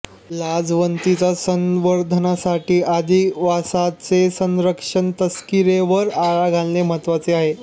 लाजवंतीचा संवर्धणासाठी अधिवासाचे संरक्षण तस्कीरवर आळा घालणे महत्त्वाचे आहे